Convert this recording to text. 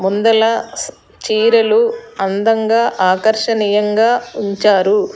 ముందల చీరలు అందంగా ఆకర్షణీయంగా ఉంచారు.